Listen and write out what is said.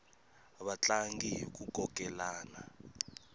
va tlanga hiku kokelana